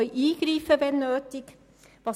Sie können eingreifen, wenn es nötig ist.